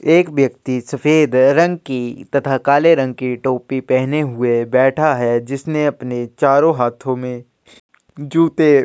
एक व्यक्ति सफेद रंग की तथा काले रंग की टोपी पेहने हुए बैठा है जिसने अपने चारों हाथों में जूते --